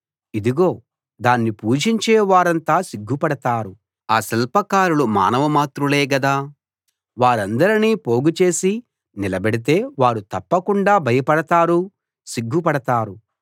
ఇదిగో దాన్ని పూజించే వారంతా సిగ్గుపడతారు ఆ శిల్పకారులు మానవ మాత్రులే గదా వారందరినీ పోగు చేసి నిలబెడితే వారు తప్పకుండా భయపడతారు సిగ్గుపడతారు